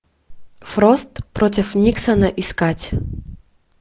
фрост против никсона искать